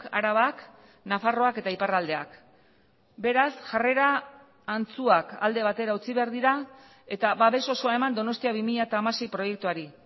arabak nafarroak eta iparraldeak beraz jarrera antzuak alde batera utzi behar dira eta babes osoa eman donostia bi mila hamasei proiektuari